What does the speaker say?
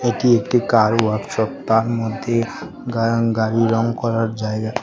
এটি একটি car workshop তার মধ্যে গা গাড়ি রং করার জায়গা।